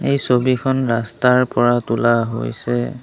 এই ছবিখন ৰাস্তাৰ পৰা তোলা হৈছে।